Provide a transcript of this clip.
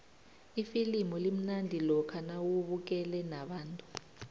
ifilimu limnandi lokha nawubukele nabantu